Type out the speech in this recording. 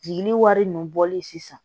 Jigini wari ninnu bɔli sisan